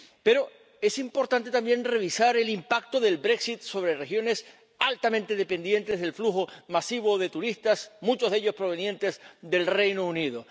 Pero es importante también revisar el impacto del Brexit sobre regiones altamente dependientes del flujo masivo de turistas, muchos de ellos provenientes del Reino Unido.